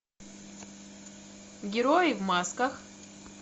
герои в масках